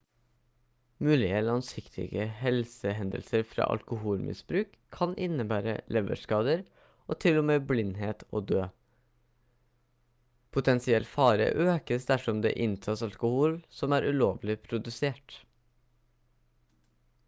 mulige langsiktige helsehendelser fra alkoholmisbruk kan innebære leverskader og til og med blindhet og død potensiell fare økes dersom det inntas alkohol som er ulovlig produsert